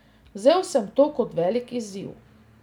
Vzel sem to kot velik izziv.